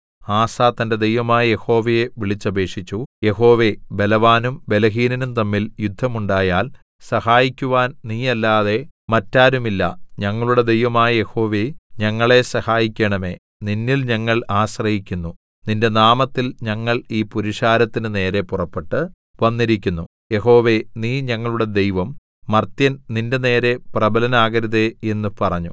ആസാ തന്റെ ദൈവമായ യഹോവയെ വിളിച്ചപേക്ഷിച്ചു യഹോവേ ബലവാനും ബലഹീനനും തമ്മിൽ യുദ്ധം ഉണ്ടായാൽ സഹായിക്കുവാൻ നീയല്ലാതെ മറ്റാരുമില്ല ഞങ്ങളുടെ ദൈവമായ യഹോവേ ഞങ്ങളെ സഹായിക്കണമേ നിന്നിൽ ഞങ്ങൾ ആശ്രയിക്കുന്നു നിന്റെ നാമത്തിൽ ഞങ്ങൾ ഈ പുരുഷാരത്തിന് നേരെ പുറപ്പെട്ടു വന്നിരിക്കുന്നു യഹോവേ നീ ഞങ്ങളുടെ ദൈവം മർത്യൻ നിന്റെനേരെ പ്രബലനാകരുതേ എന്നു പറഞ്ഞു